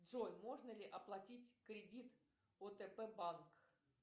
джой можно ли оплатить кредит отп банк